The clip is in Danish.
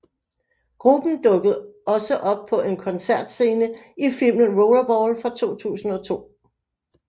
Gruppen dukkede også op på en koncertscene i filmen Rollerball fra 2002